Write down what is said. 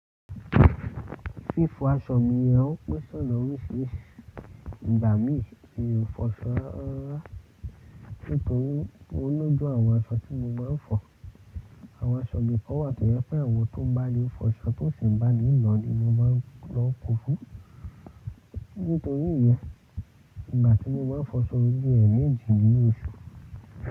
Fífọ aṣọ mi rẹ ò ń pèsè ọ̀nà oríṣiríṣi ìgbà mí kí o fọṣọ rárá. Nítorí ọlọ́jọu àwọn aṣọ tí mo máa ń fọ̀, àwọn aṣọ mi kò wà tó yẹ pé àwọn tó bá lè fọṣọ tó sì ń bá mí lò ni mo máa ń lọ ko fún. Nítorí yẹn, ìgbà tí mo bá fọṣọ bi ẹ̀ meji ní oṣù.